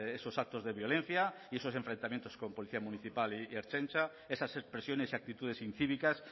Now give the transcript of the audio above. esos actos de violencia y esos enfrentamientos con policía municipal y ertzaintza esas expresiones y actitudes incívicas